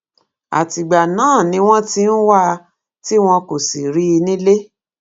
àtìgbà náà ni wọn ti ń wá a tí wọn kò sì rí i nílé